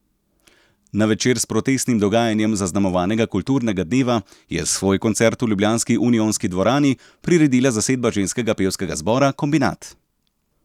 Na večer s protestnim dogajanjem zaznamovanega kulturnega dneva je svoj koncert v ljubljanski unionski dvorani priredila zasedba ženskega pevskega zbora Kombinat.